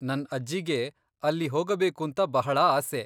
ನನ್ ಅಜ್ಜಿಗೆ ಅಲ್ಲಿ ಹೋಗಬೇಕುಂತಾ ಬಹಳಾ ಆಸೆ.